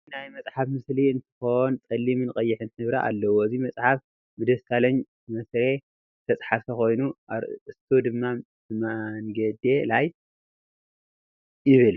እዚ ናይ መፅሕፍ ምስሊ እንትኮን ፀሊምን ቀይሕን ሕብሪ አለዎ፡፡ እዚ መፅሓፍ ብደሳለኝ ማስሬ ዝተፀሓፈ ኮይኑ አርእስቱ ድማ በመንገዴ ላይ ይብል፡፡